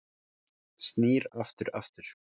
Snýr aftur aftur